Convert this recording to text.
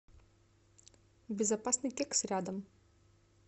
безопасный кекс рядом